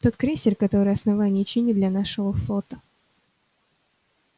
тот крейсер который основание чинит для нашего флота